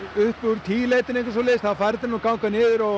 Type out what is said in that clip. upp úr tíu leytinu fer þetta að ganga niður og